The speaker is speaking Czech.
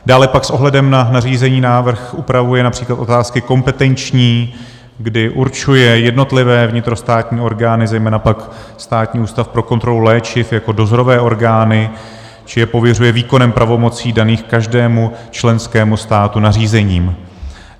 Dále pak s ohledem na nařízení návrh upravuje například otázky kompetenční, kdy určuje jednotlivé vnitrostátní orgány, zejména pak Státní ústav pro kontrolu léčiv, jako dozorové orgány či je pověřuje výkonem pravomocí daných každému členskému státu nařízením.